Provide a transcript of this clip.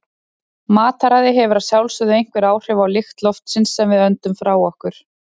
Mataræði hefur að sjálfsögðu einhver áhrif á lykt loftsins sem við öndum frá okkur.